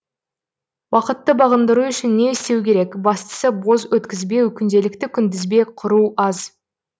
уақытты бағындыру үшін не істеу керек бастысы бос өткізбеу күнделікті күнтізбе құру аз